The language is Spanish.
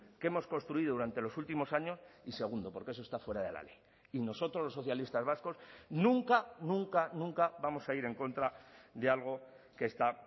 que hemos construido durante los últimos años y segundo porque eso está fuera de la ley y nosotros los socialistas vascos nunca nunca nunca vamos a ir en contra de algo que está